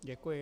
Děkuji.